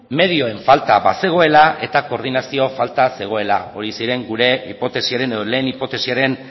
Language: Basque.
medioen falta bazegoela eta koordinazio falta zegoela horiek ziren gure hipotesiaren edo lehen hipotesiaren